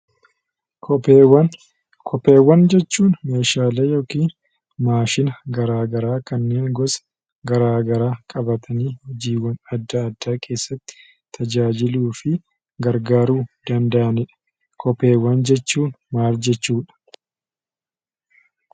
Kopheewwan: Kopheewwan jechuun meeshaalee yoomiin maashina gara garaa kan gosa adda addaa qabaatanii hojiiwwan gara garaa keessatti tajaajiluu fi gargaaruu danda’anidha. Kopheewwan jechuun maal jechuudha?